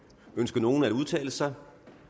ønsker nogen at udtale sig